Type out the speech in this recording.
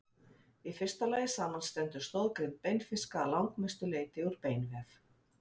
í fyrsta lagi samanstendur stoðgrind beinfiska að langmestu leyti úr beinvef